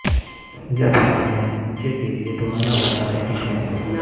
جب والدین بچے کے لئے دوانا بنا رہے ہیں